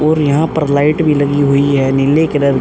और यहां पर लाइट भी लगी हुई है। नीले कलर --